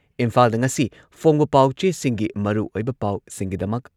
ꯏꯝꯐꯥꯜꯗ ꯉꯁꯤ ꯐꯣꯡꯕ ꯄꯥꯎꯆꯦꯁꯤꯡꯒꯤ ꯃꯔꯨꯑꯣꯏꯕ ꯄꯥꯎꯁꯤꯡꯒꯤꯗꯃꯛ